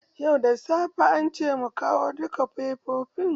Yau da safe ance mu kawo duka fefofin.